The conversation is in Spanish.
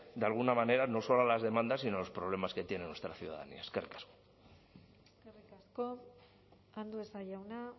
de alguna manera no solo a las demandas sino a los problemas que tiene nuestra ciudadanía eskerrik asko eskerrik asko andueza jauna